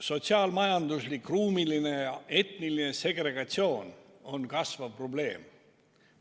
Sotsiaal-majanduslik, ruumiline ja etniline segregatsioon on kasvav probleem.